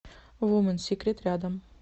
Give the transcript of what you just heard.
вуменсикрет рядом